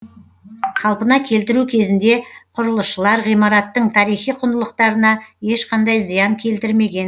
қалпына келтіру кезінде құрылысшылар ғимараттың тарихи құндылықтарына ешқандай зиян келтірмеген